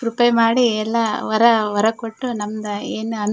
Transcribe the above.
ಕೃಪೆ ಮಾಡಿ ಎಲ್ಲಾ ವರ ವರ ಕೊಟ್ಟು ನಮ್ಮದ್ ಏನ್ ಅನ್ --